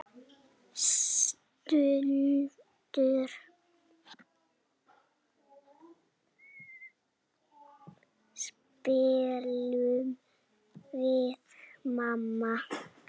Stundum spilum við Manna.